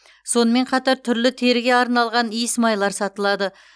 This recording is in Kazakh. сонымен қатар түрлі теріге арналған иісмайлар сатылады